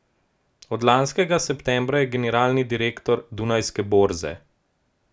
Od lanskega septembra je generalni direktor Dunajske borze.